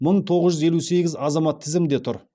мың тоғыз жүз елу сегіз азамат тізімде тұр